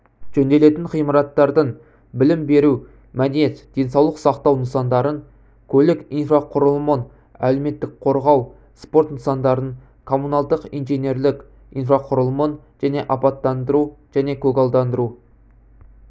жөнделетін ғимараттардың білім беру мәдениет денсаулық сақтау нысандарын көлік инфрақұрылымын әлеуметтік қорғау спорт нысандарын коммуналдық-инженерлік инфрақұрылымын және абаттандыру және көгалдандыру